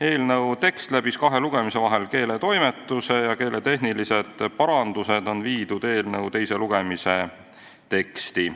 Eelnõu tekst läbis kahe lugemise vahel keeletoimetuse ja keeletehnilised parandused on tehtud teise lugemise tekstis.